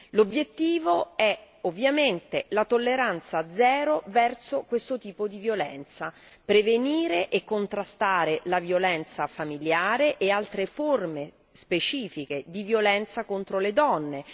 L'obiettivo è ovviamente la tolleranza zero verso questo tipo di violenza prevenire e contrastare la violenza familiare e altre forme specifiche di violenza contro le donne